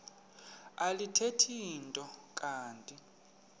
alithethi nto kanti